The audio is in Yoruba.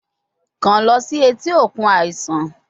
Kan lọ si eti okun aisan